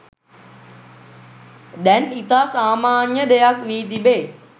දැන් ඉතා සාමාන්‍ය දෙයක් වී තිබේ